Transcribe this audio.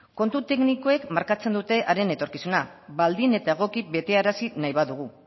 kontu teknikoek markatzen dute haren etorkizuna baldin eta egoki betearazi nahi badugu